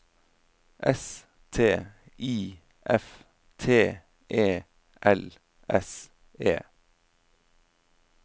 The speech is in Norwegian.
S T I F T E L S E